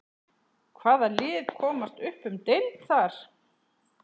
Hvaða lið komast upp um deild þar?